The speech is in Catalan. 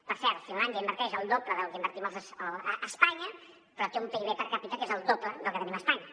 per cert finlàndia inverteix el doble del que invertim a espanya però té un pib per capita que és el doble del que tenim a espanya